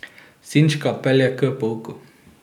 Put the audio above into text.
Sinčka pelje k pouku.